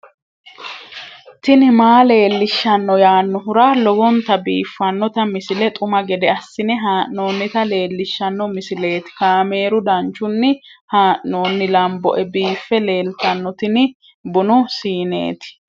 tini maa leelishshanno yaannohura lowonta biiffanota misile xuma gede assine haa'noonnita leellishshanno misileeti kaameru danchunni haa'noonni lamboe biiffe leeeltanno tini bunu siineeti